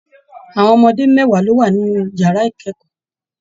Àwọn ọmọdé mẹwa ló wà nínú yàrá ikẹkọọ.